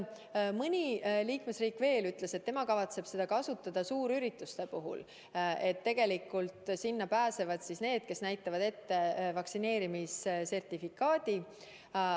Mõni liikmesriik ütles veel seda, et nemad kavatsevad seda kasutada suurürituste puhul, nii et sinna pääseksid ainult need, kes näitavad ette vaktsineerimissertifikaadi.